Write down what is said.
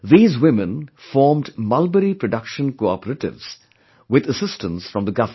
These women formed mulberryproduction cooperatives with assistance from the Government